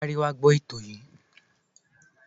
Sáré wá gbọ ètò yìí.